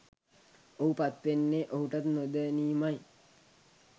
ඔහු පත්වෙන්නෙ ඔහුටත් නොදැනීමයි.